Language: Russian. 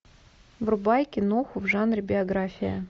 врубай киноху в жанре биография